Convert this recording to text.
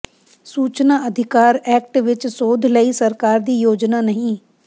ਸੂਚਨਾ ਅਧਿਕਾਰ ਐਕਟ ਵਿੱਚ ਸੋਧ ਲਈ ਸਰਕਾਰ ਦੀ ਯੋਜਨਾ ਨਹੀਂ